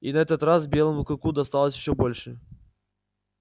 и на этот раз белому клыку досталось ещё больше